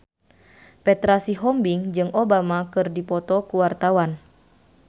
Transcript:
Petra Sihombing jeung Obama keur dipoto ku wartawan